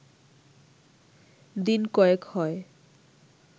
দিন কয়েক হয়